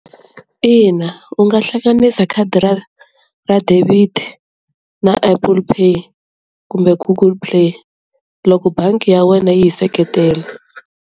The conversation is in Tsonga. Ina u nga hlanganisa khadi ra ra debit na Apple Pay kumbe Google Play loko bangi ya wena yi yi seketela.